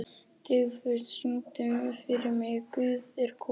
Dufgus, syngdu fyrir mig „Guð er kona“.